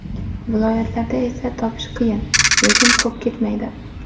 Viloyatlarda esa topish qiyin, lekin ko‘p ketmaydi.